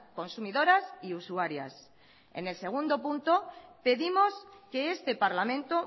consumidoras y usuarias en el segundo punto pedimos que este parlamento